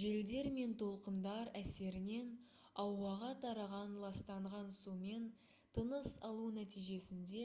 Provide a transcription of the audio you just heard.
желдер мен толқындар әсерінен ауаға тараған ластанған сумен тыныс алу нәтижесінде